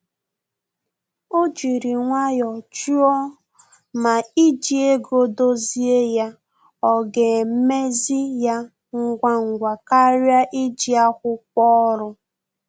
O jiri nwayọ jụọ ma iji ego dozie ya ọ ga emezi ya ngwa ngwa karịa iji akwụkwọ ọrụ